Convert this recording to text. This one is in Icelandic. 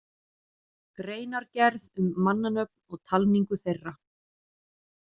Greinargerð um mannanöfn og talningu þeirra